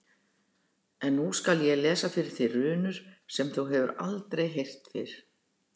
En nú skal ég lesa fyrir þig runur sem þú hefur aldrei heyrt fyrr.